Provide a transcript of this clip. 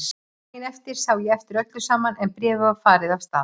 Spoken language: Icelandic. Daginn eftir sá ég eftir öllu saman en bréfið var farið af stað.